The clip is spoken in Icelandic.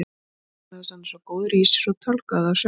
Vegna þess að hann er svo góður í sér og tálgaði þá sjálfur.